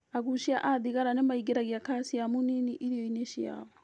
Agucia a thigara nĩmaingĩragia kaciamu nini irio-inĩ ciao